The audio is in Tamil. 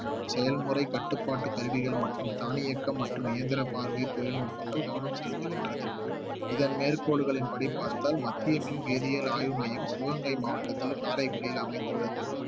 செயல்முறை கட்டுப்பாட்டு கருவிகள் மற்றும் தானியக்கம் மற்றும் இயந்திர பார்வை தொழில்நுட்பங்கள் கவனம் செலுத்துகின்றது இதன் மேற்கோள்களின்படி பார்த்தால் மத்திய மின் வேதியியல் ஆய்வு மையம் சிவகங்கை மாவட்டத்தில் காரைக்குடியில் அமைந்துள்ளது